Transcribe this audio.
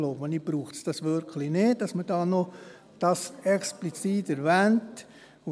Deshalb glaube ich, dass man dies hier nicht noch explizit zu erwähnen braucht.